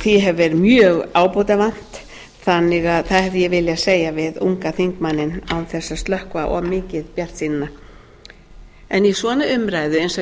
hefur verið mjög ábótavant þannig að það hefði ég viljað segja við unga þingmanninn án þess að slökkva of mikið bjartsýnina í svona umræðu eins og